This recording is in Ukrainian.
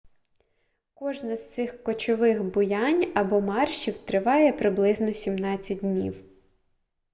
кожне з цих кочових буянь або маршів триває приблизно 17 днів